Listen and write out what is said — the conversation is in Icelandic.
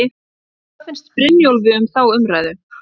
En hvað finnst Brynjólfi um þá umræðu?